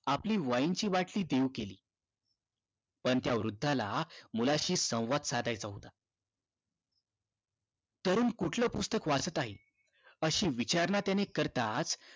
आपली wine ची बाटली देऊ केली पण त्या वृद्धाला मुलाशी संवाद साधायचा होता तरुण कुठलं पुस्तक वाचत आहे अशी विचारणा त्याने करताच